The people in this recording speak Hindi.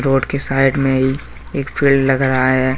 रोड के साइड मे ही एक पेड़ लग रहा है।